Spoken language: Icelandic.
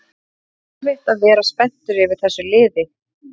Það er erfitt að vera spenntur yfir þessu liði